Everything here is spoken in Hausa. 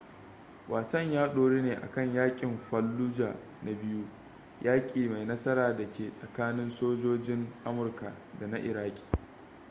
wasan ya doru ne akan yaƙin fallujah na biyu yaƙi mai nasara da ke tsakanin sojojin amurka da na iraki